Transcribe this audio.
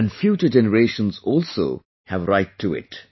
and future generations also have a right to it